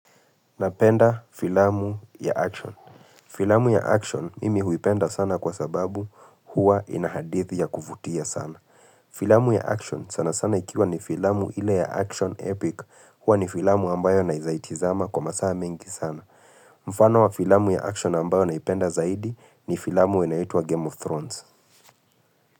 Napenda filamu ya ''action''. Filamu ya ''action'', mimi huipenda sana kwa sababu huwa ina hadithi ya kufutia sana. Filamu ya ''action'', sana sana ikiwa ni filamu ila ya ''action epic'' huwa ni filamu ambayo naeza tazama kwa masaa mengi sana. Mfano wa filamu ya ''action'' ambayo naipenda zaidi ni filamu unayoitwa ''Game of Thrones''.